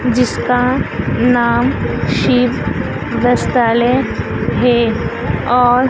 जिसका नाम शिव वस्त्रालय है और --